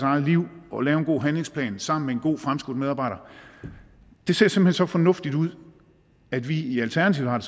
eget liv og lave en god handlingsplan sammen med en god fremskudt medarbejder det ser simpelt hen så fornuftigt ud at vi i alternativet har